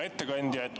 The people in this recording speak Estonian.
Hea ettekandja!